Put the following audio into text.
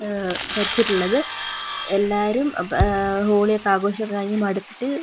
ഏഹ് ധരിച്ചിട്ടുള്ളത് എല്ലാവരും പ ഹോളിയൊക്കെ ആഘോഷം കഴിഞ്ഞ് മടുത്തിട്ട്--